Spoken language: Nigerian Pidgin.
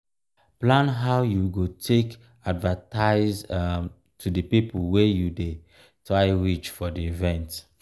plan how you go take advertise um to di people wey you dey try reach for di event